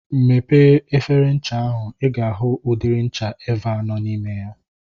Mepee efere ncha ahu. I ga ahụ udiri ncha Eva nọ n'ime ya.